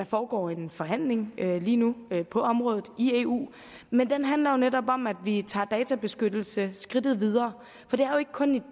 foregår en forhandling lige nu på området i eu men den handler jo netop om at vi tager databeskyttelse skridtet videre for det er jo ikke kun i